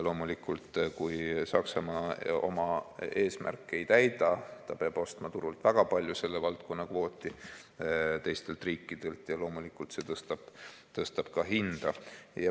Kui Saksamaa oma eesmärki ei täida, ta peab ostma turult väga palju selle valdkonna kvooti teistelt riikidelt ja loomulikult see tõstab ka hinda.